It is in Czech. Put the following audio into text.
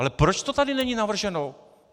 Ale proč to tady není navrženo?